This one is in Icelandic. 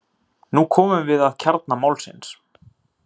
Nú komum við að kjarna málsins.